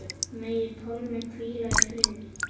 Megi Pálmi hvíla í friði.